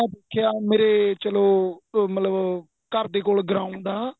ਕਿਹਾ ਮੇਰੇ ਚੱਲੋ ਘਰ ਦੇ ਕੋਲ ground ਹੈ